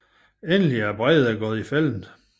Endelig er Breide gået i fælden